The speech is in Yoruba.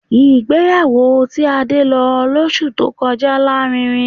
Ìgbéyàwó tí Adé lọ lọ́sù tí ó kọjá lárinrin